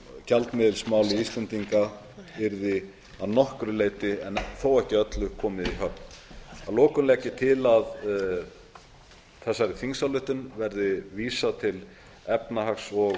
að gjaldmiðilsmáli íslendinga yrði að nokkru leyti þó ekki öllu komið í höfn að lokum legg ég til að þessari þingsályktun verði vísað til efnahags og